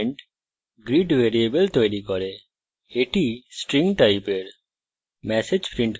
এই statement greet variable তৈরী করে এটি string টাইপের